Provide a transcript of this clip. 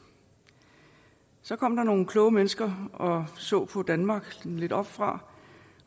så kom der nogle kloge mennesker og så på danmark lidt oppefra